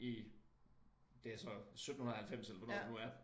I det så 1790 eller hvornår det nu er